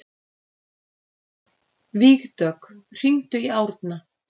Vígdögg, hringdu í Árna.